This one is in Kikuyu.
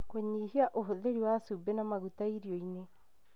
Kũnyihia ũhũthĩri wa cumbĩ na maguta irio-inĩ,